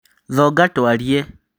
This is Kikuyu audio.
Thonga twarie